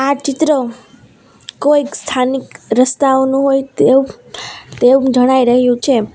આ ચિત્ર કોઈક સ્થાનિક રસ્તાઓનું હોય તેવુ તેવુ જણાઈ રહ્યું છે.